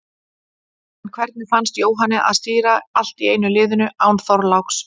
En hvernig fannst Jóhanni að stýra allt í einu liðinu, án Þorláks?